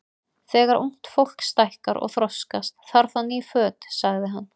Þegar ungt fólk stækkar og þroskast, þarf það ný föt sagði hann.